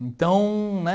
Então, né?